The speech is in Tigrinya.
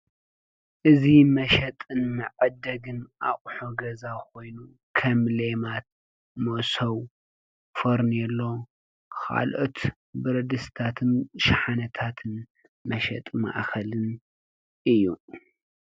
እዚ መሸጥን መዐደግን ኣቁሑ ገዛ ኮይኑ ከም ሌማት፣ መሶብ፣ ፈርኔሎ ካልኦት ብረድስትታትን ሸሓነታትን መሸጢ ማእከልን እዩ፡፡